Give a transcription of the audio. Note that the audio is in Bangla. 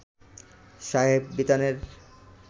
শাহেব বিতানের